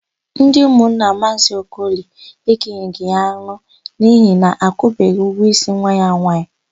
Ndị ụmụnna Maazị Okoli ekenyeghị ya anụ n'ihi na akwụbeghị ụgwọ ísí nwa ya nwaanyị.